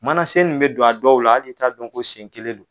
Mana sen min mɛ don a dɔw la hali i t'a dɔn ko sen kelen do.